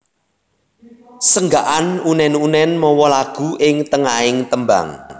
Senggakan unèn unèn mawa lagu ing tengahing tembang